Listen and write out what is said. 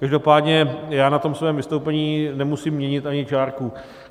Každopádně já na tom svém vystoupení nemusím měnit ani čárku.